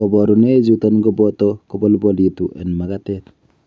Koboruunoichuton koboto kobolbolitu en makatet.